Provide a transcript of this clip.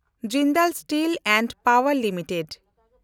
Jindal steel and ᱯᱟᱣᱮᱱᱰ limited